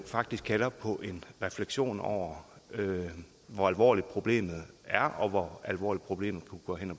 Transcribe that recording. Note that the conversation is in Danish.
faktisk kalder på en refleksion over hvor alvorligt problemet er og hvor alvorligt problemet kunne gå hen